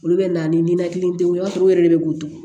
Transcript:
Olu bɛ na ni ninakilidenw ye i b'a sɔrɔ u yɛrɛ de bɛ guto